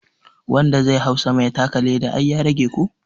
Wanda zai hau sama ya taka leda ai ya rage ko?